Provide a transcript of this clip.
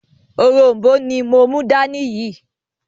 “òrom̀bó” ni mo mú dání yìí